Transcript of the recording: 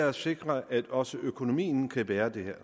at sikre at også økonomien kan bære det her